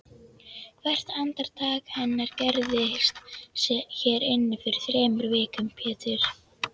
Hvert andartak hennar gerðist hér inni fyrir þremur vikum Pétur.